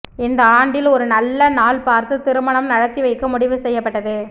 இந்த ஆண்டில் ஒரு நல்ல நாள் பார்த்து திருமணம் நடத்தி வைக்க முடிவு செய்யப்பட்டது